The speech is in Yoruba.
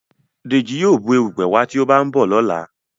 Deji yíò Bù erùpẹ̀ wá tí o ba nbọ lọla